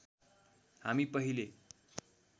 हामी पहिले